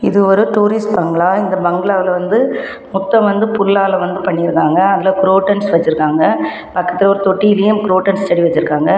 இது ஒரு tourist bungalow இந்த பங்களால வந்து மொத்தம் வந்து புள்ளாள வந்து பண்ணியிருக்காங்க அதுல க்கிரொட்டன்ஸ் வெச்சுருக்காங்க பக்கத்துல ஒரு தொட்டிலையும் க்கிரொட்டன்ஸ் செடி வெச்சிருக்காங்க.